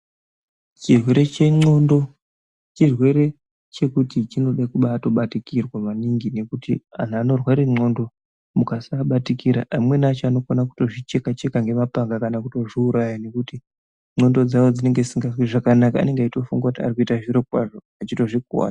Chirwere che ndxondo chirwere chekuti chinode kutobai batikirwa maningi ngekuti antu anorwara ndxondo kusaabatikira amweni acho anokona kuzvi cheka cheka nge mapanga kana kuto zviuraya nekuti ndxondo dzavo dzinenge dzisinganzwi zvakanaka anenge eyito funga kuti arikuita zviro kwazvo ivo echirozvi kuvadza.